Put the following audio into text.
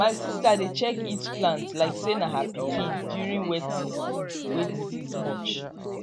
my sista dey check each plant like say na her pikin during wet season way disease much